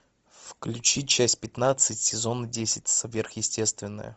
включи часть пятнадцать сезон десять сверхъестественные